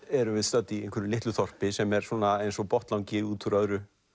erum við stödd í einhverju litlu þorpi sem er eins og botnlangi út úr öðru